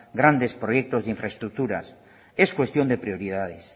grandes proyectos de infraestructuras es cuestión de prioridades